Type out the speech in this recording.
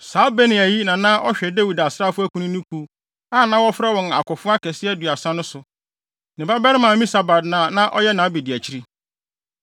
Saa Benaia yi na na ɔhwɛ Dawid asraafo akunini kuw, a na wɔfrɛ wɔn Akofo Akɛse Aduasa no so. Ne babarima Amisabad na na ɔyɛ nʼabediakyiri.